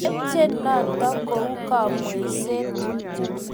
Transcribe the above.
Tepche notok kou kamweishet